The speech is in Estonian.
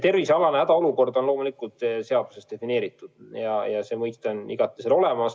Tervisealane hädaolukord on loomulikult seaduses defineeritud, see mõiste on seal olemas.